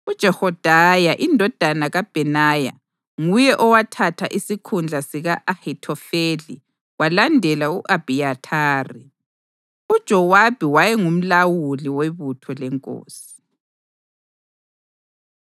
UJehoyada indodana kaBhenaya nguye owathatha isikhundla sika-Ahithofeli kwalandela u-Abhiyathari. UJowabi wayengumlawuli webutho lenkosi.